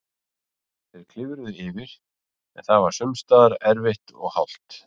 Þeir klifruðu yfir, en það var sums staðar erfitt og hált.